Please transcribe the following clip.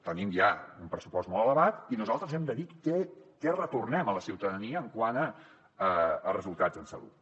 tenim ja un pressupost molt elevat i nosaltres hem de dir què retornem a la ciutadania quant a resultats en salut